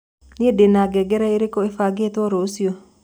nii ndĩna ngengere irĩku ĩbangĩtwo rucĩũ